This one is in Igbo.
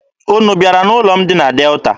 Unu bịara n'ụlọ m dị na Delta?